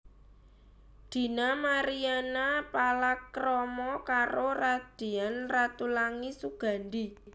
Dina Mariana palakrama karo Radian Ratulangi Sugandi